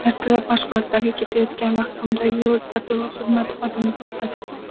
Ertalab mashg‘ulotlarga ketayotgan vaqtimda yo‘l patrul xizmati xodimi to‘xtatdi.